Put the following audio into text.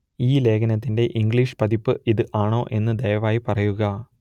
ഈ ലേഖനത്തിന്റെ ഇംഗ്ലീഷ് പതിപ്പ് ഇത് ആണോ എന്ന് ദയവായി പറയുക